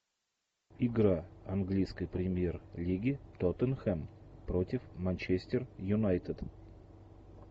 игра английской премьер лиги тоттенхем против манчестер юнайтед